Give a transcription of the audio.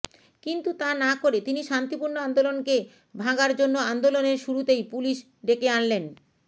কিন্তু তা না করে তিনি শান্তিপূর্ণ আন্দোলনকে ভাঙার জন্য আন্দোলনের শুরুতেই পুলিশ ডেকে আনলেন